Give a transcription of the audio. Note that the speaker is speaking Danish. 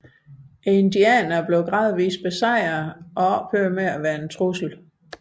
Indianerne blev gradvist besejret og ophørte med at være en trussel